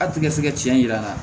A tɛ ka se ka tiɲɛ yir'an na